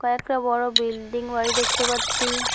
কয়েকটা বড় বিল্ডিং বাড়ি দেখতে পাচ্ছি।